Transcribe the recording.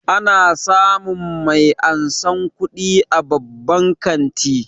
Ana samun mai ansan kuɗi a babban kanti